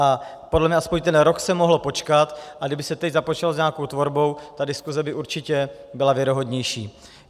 A podle mě aspoň ten rok se mohlo počkat, a kdyby se teď započalo s nějakou tvorbou, ta diskuse by určitě byla věrohodnější.